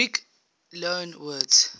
greek loanwords